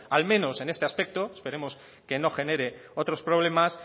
al menos en este aspecto esperemos que no genere otros problemas